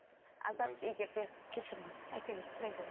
азат егер де кешіріңіз айта беріңіз сұрай беріңіз